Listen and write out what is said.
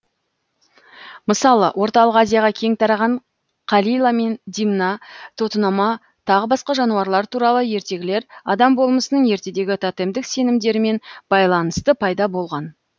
мысалы орталық азияға кең тараған қалила мен димна тотынама тағы басқа жануарлар туралы ертегілер адам болмысының ертедегі тотемдік сенімдермен байланысты пайда болған